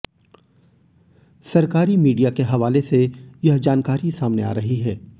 सरकारी मीडिया के हवाले से यह जानकारी सामने आ रही है